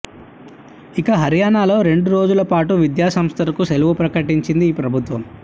ఇక హర్యానాలో రెండు రోజుల పాటు విద్యాసంస్థలకు సెలవు ప్రకటించింది ఈ ప్రభుత్వం